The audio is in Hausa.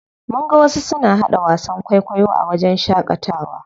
Mun ga wasu suna haɗa wasan kwaikwayo a wajen shaƙatawa.